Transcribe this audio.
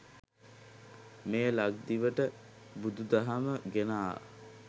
මෙය ලක්දිවට බුදු දහම ගෙන ආ